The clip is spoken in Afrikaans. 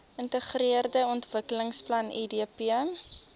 geintegreerde ontwikkelingsplan idp